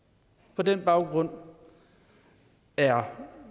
på den baggrund er